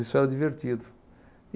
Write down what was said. Isso era divertido.